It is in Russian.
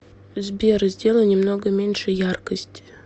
сбер сделай немного меньше яркость